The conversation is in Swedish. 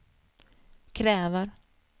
kräver